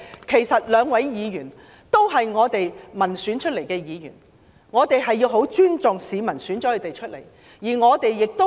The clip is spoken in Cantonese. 其實，兩位有關的議員均經由民選產生，因此我們必須尊重市民的選擇。